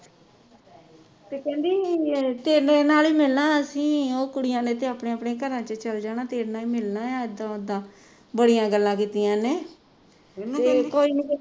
ਤੇ ਕਹਿੰਦੀ ਤੇਰੇ ਨਾਲ ਹੀ ਮਿਲਣਾ ਅਸੀਂ ਉਹ ਕੁੜੀਆਂ ਨੇ ਤੇ ਆਪਣੇ ਆਪਣੇ ਘਰ ਚਲੇ ਜਾਣਾ ਤੇਰੇ ਨਾਲ ਹੀ ਮਿਲਣਾ ਆ ਇਦਾਂ ਉਦਾ ਬੜੀਆਂ ਗੱਲਾਂ ਕੀਤੀਆਂ ਇਹਨੇ